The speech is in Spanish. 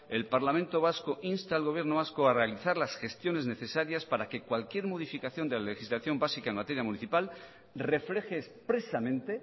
el parlamento vasco insta al gobierno vasco a realizar las gestiones necesarias para que cualquier modificación de la legislación básica en materia municipal refleje expresamente